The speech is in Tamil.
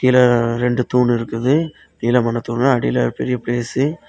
இங்க ரெண்டு தூண் இருக்குது நீளமான தூணு அடில பெரிய ஸ்பேசு .